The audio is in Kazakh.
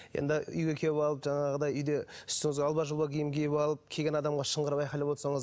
енді үйге келіп алып жаңағыдай үйде үстіңізге алба жұлба киім киіп алып келген адамға шыңғырып айқайлап отырсаңыз